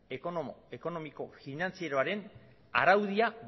ekonomiko finantzieroaren araudia